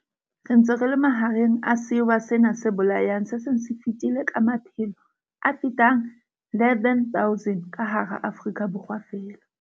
Baetsi bana ba bobe ha ba qetelle feela ka ho tshwarwa ba qoswe, empa ba boela ba amohuwa meputso eo ba e